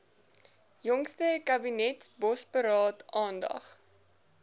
jongste kabinetsbosberaad aandag